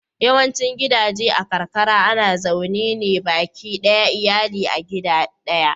Yawaicin gidaje a karkara ana zaune ne baki ɗayan iyali a gida ɗaya.